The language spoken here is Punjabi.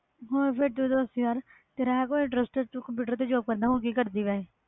ਹੋਰ ਤੋਂ ਦੱਸ ਯਾਰ ਤੇ ਕੋਈ ਕੰਪਿਊਟਰ ਦੀ job ਵਿੱਚ interest ਹੋਰ ਕਿ ਕਰਦੀ ਤੂੰ